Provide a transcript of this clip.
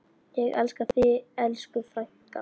Ég elska þig, elsku frænka.